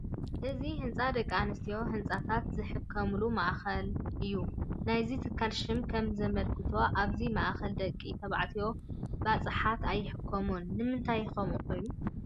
እዚ ህንፃ ደቂ ኣንስትዮን ህፃናትን ዝሕከሙሉ ማእኸል እዩ፡፡ ናይዚ ትካል ሽም ከምዘመልክቶ ኣብዚ ማእከል ደቂ ተባዕትዮ ባፅሓት ኣይሕከሙን፡፡ ንምንታይ ከምኡ ኾይኑ?